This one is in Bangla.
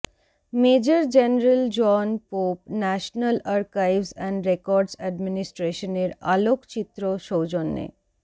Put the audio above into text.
major General John Pope National Archives and Records এ্যাডমিনিস্ট্রেশনের আলোকচিত্র সৌজন্যে